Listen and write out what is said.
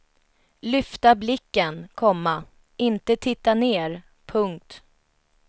Lyfta blicken, komma inte titta ner. punkt